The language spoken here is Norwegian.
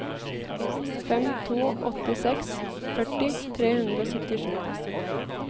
fem to åtte seks førti tre hundre og syttisju